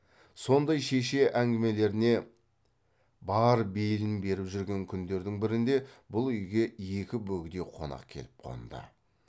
сондай шеше әңгімелеріне бар бейілін беріп жүрген күндердің бірінде бұл үйге екі бөгде қонақ келіп қонды